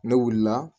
Ne wulila